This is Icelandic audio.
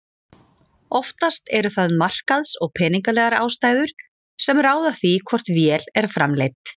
Oftast eru það markaðs- og peningalegar ástæður sem ráða því hvort vél er framleidd.